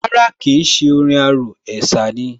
Rárá kìí ṣé orin arò, ẹ̀sà ni